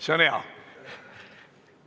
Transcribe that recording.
See on hea!